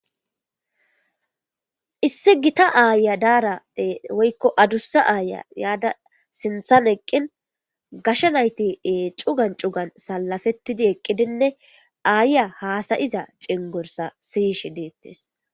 issi gita aya daara woykko adussa aaya yaada sinthan eqqin gashsha nayti ee cugan cugan salafettidi eqqidinne aayya haasayiza cengorsa siyishe deettes